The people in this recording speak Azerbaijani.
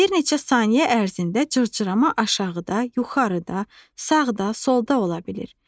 Bir neçə saniyə ərzində cırcırama aşağıda, yuxarıda, sağda, solda ola bilir.